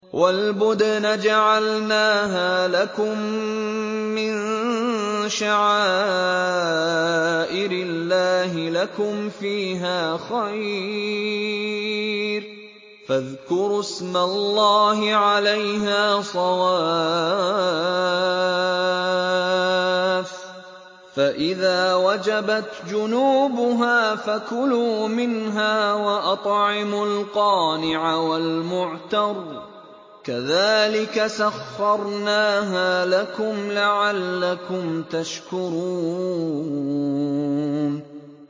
وَالْبُدْنَ جَعَلْنَاهَا لَكُم مِّن شَعَائِرِ اللَّهِ لَكُمْ فِيهَا خَيْرٌ ۖ فَاذْكُرُوا اسْمَ اللَّهِ عَلَيْهَا صَوَافَّ ۖ فَإِذَا وَجَبَتْ جُنُوبُهَا فَكُلُوا مِنْهَا وَأَطْعِمُوا الْقَانِعَ وَالْمُعْتَرَّ ۚ كَذَٰلِكَ سَخَّرْنَاهَا لَكُمْ لَعَلَّكُمْ تَشْكُرُونَ